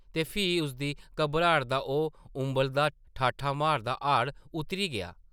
ते फ्ही उसदी घबराट दा ओह् उंबलदा, ठाठां मारदा हाड़ उतरी गेआ ।